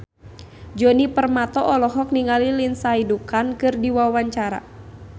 Djoni Permato olohok ningali Lindsay Ducan keur diwawancara